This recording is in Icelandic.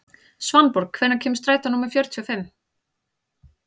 Svanborg, hvenær kemur strætó númer fjörutíu og fimm?